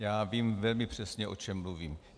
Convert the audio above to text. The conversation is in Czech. Já vím velmi přesně, o čem mluvím.